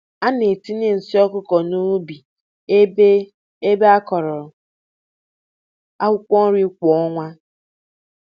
A na-etinye nsi ọkụkọ n’ubi ebe ebe a kụrụ akwukwo nri kwa ọnwa.